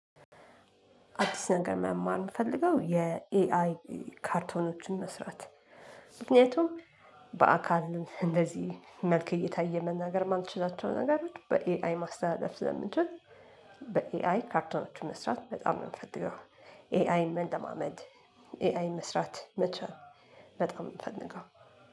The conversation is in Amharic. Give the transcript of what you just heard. አዲስ ነገር መማር የምፈልገው የኤአይ ካርቶኖችን መስራት። ምክንያቱም በአካል እንደዚህ መልክ እየታየ መናገር የማልችላቸው ነገሮች በኤአይ ማስተላለፍ ስለምንችል በኤአይ ካርቶኖችን መስራት በጣም ነው የምፈልገው። ኤአይ መለማመድ። ኤአይ መስራት መቻል። በጣም ነው የምፈልገው።